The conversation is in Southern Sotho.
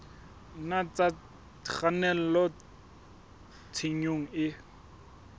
nna tsa kgannela tshenyong e